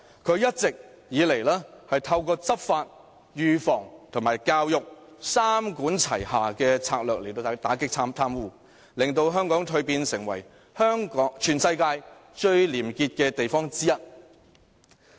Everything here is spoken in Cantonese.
它一直以來透過執法、預防和教育三管齊下的策略打擊貪污，令香港蛻變成為全世界其中一個最廉潔的地方。